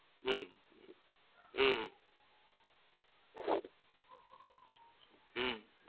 હમ હમ હમ હમ